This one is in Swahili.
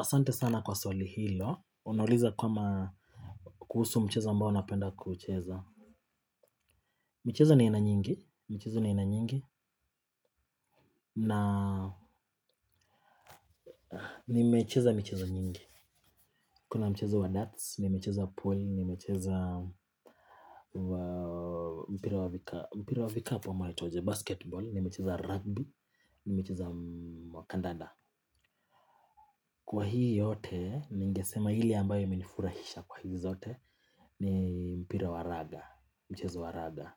Asante sana kwa swali hilo. Unauliza kama, kuhusu mchezo ambao napenda kucheza. Michezo ni ya aina nyingi. Michezo ni ina nyingi. Na, nimecheza michezo nyingi. Kuna mchezo wa darts, nimecheza pool, nimecheza wa mpira wa vika, mpira wa vikapu ama waitwaje, basketball, nimecheza rugby, nimecheza wakandada. Kwa hii yote, ningesema ile ambayo imenifurahisha kwa hizi zote, ni mpira wa raga, mchezo wa raga,